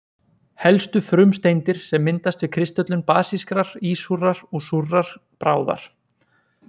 Helstu frumsteindir sem myndast við kristöllun basískrar, ísúrrar og súrrar bráðar.